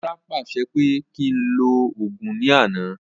Ọlá pàṣẹ pé kí ń lọ Ògún ní àná